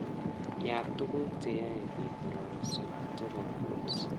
Yaat tuguk cheyae biik kororoso chebo kuls